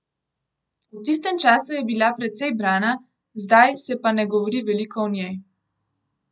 V tistem času je bila precej brana, zdaj se pa ne govori veliko o njej.